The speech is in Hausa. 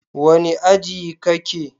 Wane aji kake?